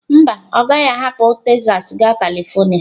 Mba, ọ gaghị ahapụ Texas gaa Kalịfornia